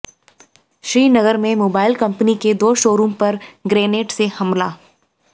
श्रीनगर में mobile company के दो शोरूम पर ग्रेनेड से हमला